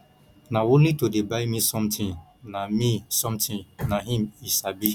na only to dey buy me something na me something na im he sabi